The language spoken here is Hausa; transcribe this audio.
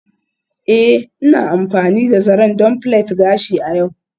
Ee, Ina amfani da zaren don plait gashi a yau.